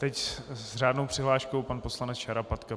Teď s řádnou přihláškou pan poslanec Šarapatka.